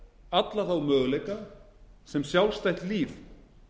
alla þá möguleika sem sjálfstætt lít